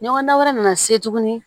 Ɲɔgɔndan wɛrɛ nana se tugun